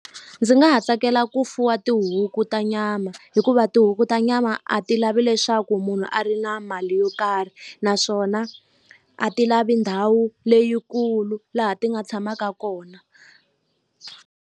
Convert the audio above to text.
Ndzi nga ha tsakela ku fuwa tihuku ta nyama hikuva tihuku ta nyama a ti lavi leswaku munhu a ri na mali yo karhi naswona a ti lavi ndhawu leyikulu laha ti nga tshamaka kona.